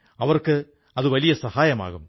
അവർക്കതു വലിയ സഹായമാകും